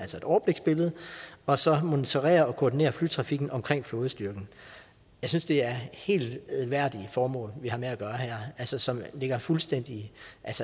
altså et overbliksbillede og så monitorere og koordinere flytrafikken omkring flådestyrken jeg synes det er helt værdige formål vi har med at gøre her altså som ligger fuldstændig